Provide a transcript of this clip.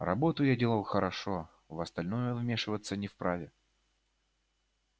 работу я делал хорошо в остальное он вмешиваться не вправе